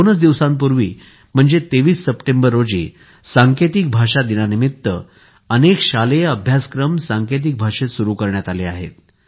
दोनच दिवसांपूर्वी म्हणजेच 23 सप्टेंबर रोजी सांकेतिक भाषा दिनानिमित्त अनेक शालेय अभ्यासक्रमही सांकेतिक भाषेत सुरू करण्यात आले आहेत